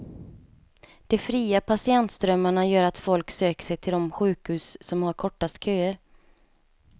De fria patientströmmarna gör att folk söker sig till de sjukhus som har kortast köer.